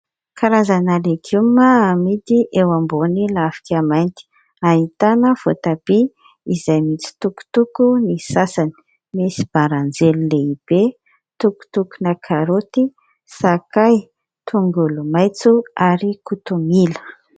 Karazana legioma amidy eo ambony lafika mainty. Ahitana voatabia izay mitsitokotoko ny sasany. Misy baranjely lehibe, tokotokona karaoty, sakay, tongolomaitso ary kotomila.